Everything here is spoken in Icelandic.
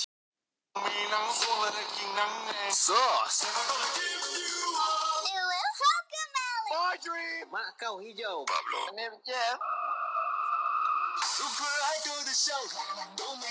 Ég trúi þessu heldur ekki upp á hann Sveinbjörn.